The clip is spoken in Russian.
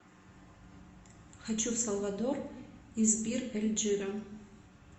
хочу в салвадор из бир эль джира